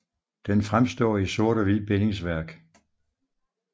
Den fremstår i sort og hvid bindingsværk